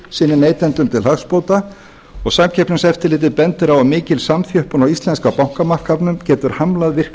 sínum neytendum til hagsbóta og samkeppniseftirlitið bendir á að mikil samþjöppun á íslenska bankamarkaðnum getur hamlað virkri